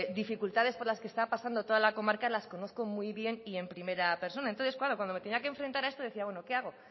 dificultades por la que está pasando toda la comarca las conozco muy bien y en primera persona entonces claro cuando me tenía que enfrentar a esto decía bueno qué hago